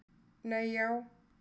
Nei já.